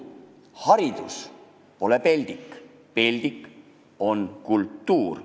Haridus pole peldik, peldik on kultuur.